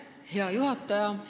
Hea juhataja!